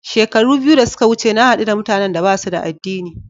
Shekara biyu da suka wuce na haɗu da mutanan da ba su da addini.